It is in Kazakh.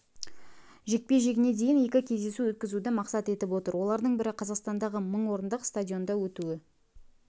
жекпе-жегіне дейін екі кездесу өткізуді мақсат етіп отыр олардың бірі қазақстандағы мың орындық стадионда өтуі